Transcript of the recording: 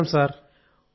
నమస్కారం సార్